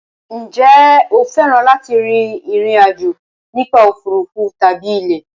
Ǹjẹ́ o fẹ́ràn láti rin ìrìn àjò nípa òfuurufú tàbí ilẹ̀?